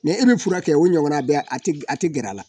Mɛ e bɛ furakɛ kɛ o ɲɔgɔnna bɛ a tɛ a tɛ gɛrɛ o la.